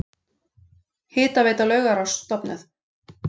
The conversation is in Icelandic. Hitaveita Laugaráss stofnuð.